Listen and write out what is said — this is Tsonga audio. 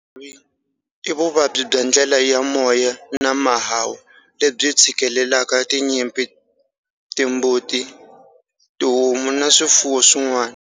Xitlhavi i vuvabyi bya ndlela ya moya na mahahu, lebyi tshikilelaka tinyimpfu, timbuti, tihomu na swifuwo swin'wana.